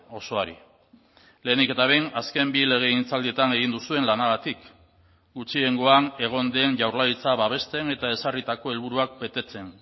osoari lehenik eta behin azken bi legegintzaldietan egin duzuen lanagatik gutxiengoan egon den jaurlaritza babesten eta ezarritako helburuak betetzen